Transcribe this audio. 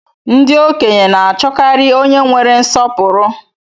Ndị okenye na achọkarị onye nwere nsọpụrụ